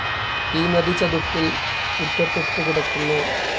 ഈ നദി ചതുപ്പിൽ ചുറ്റപ്പെട്ടുകിടക്കുന്നു.